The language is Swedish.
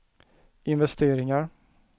investeringar